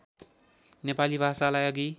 नेपाली भाषालाई अघि